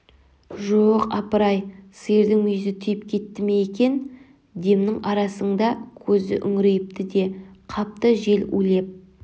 жо-о-оқ апырай сиырдың мүйізі тиіп кетті ме екен демнің арасыңда көзі үңірейіпті де қапты жел улеп